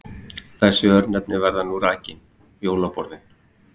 Þessi örnefni verða nú rakin: Jólaborðin